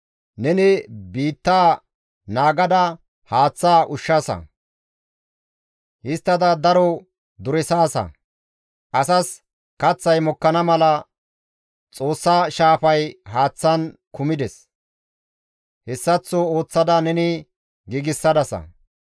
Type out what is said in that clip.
Neni biitta naagada haath ushshaasa; histtada daro duresaasa; Asas kaththay mokkana mala Xoossa shaafay haaththan kumides; hessaththo ooththada neni giigsadasa.